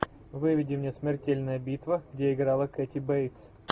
выведи мне смертельная битва где играла кэти бейтс